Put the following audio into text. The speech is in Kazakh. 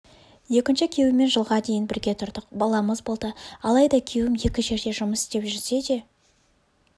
екінші күйеуіммен жылға дейін бірге тұрдық баламыз болды алайда күйеуім екі жерде жұмыс істеп жүрсе де